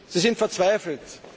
Sie sind verzweifelt.